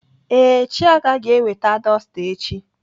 Ee, Chiaga ga-eweta dọsta echi.